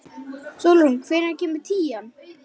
Sólrún, hvenær kemur tían?